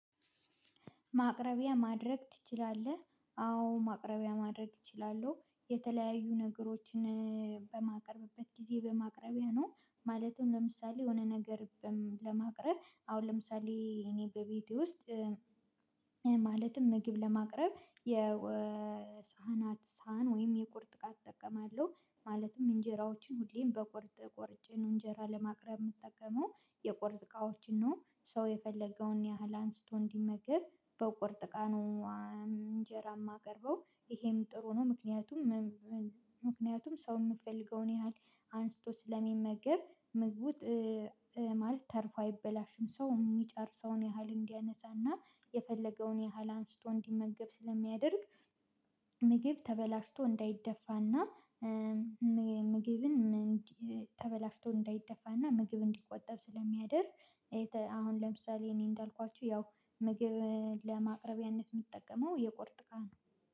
ማቅረቢያ ማድረግ ትችላለህ? አዎ ማቅረቢያ ማድረግ እችላለሁ የተለያዩ ነገሮችን በማቀርብበት ጊዜ በማቅረቢያ ነው። ማለትም ለምሳሌ የሆነ ነገር ለማቅረብ አሁን ለምሳሌ እኔ በቤቴ ውስጥ ማለትም ምግብ ለማቅረብ የሳህናት ሳህን ወይም የቁርጥ እቃ እጠቀማለሁ። ማለትም እንጀራዎችን ሁሌም በቁርጥ ቆርጬ ነው እንጀራ ለማቅረብ የምጠቀመው የቆርጥ እቃዎችን ነው። ሰው የፈለገውን ያህል አንስቶ እንዲመግብ በቁርጥ እቃ ነው። እንጀራ የማቀርበው ይሄም ጥሩ ነው ምክንያቱም ምክንያቱም ሰው የምፈልገውን ያህል አንስቶ ስለሚመገብ ምግቡን ማለት ተርፎ አይበላሽም ሰው የሚጨርሰውን ያህል እንዲያነሳና የፈለገውን ያህል አንስቶ እንዲመገብ ስለሚያደርግ። ምግብ ተበላሽቶ እንዳይደፋና ምግብን ተበላሽቶ እንዳይደፋና ምግብ እንዲቆጠብ ስለሚያደርግ። አሁን ለምሳሌ እኔ እንዳልኳችሁ ያው ምግብ ለማቅረቢያነት የምጠቀመው የቁርጥ እቃ ነው